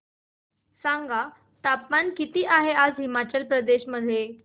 सांगा तापमान किती आहे आज हिमाचल प्रदेश मध्ये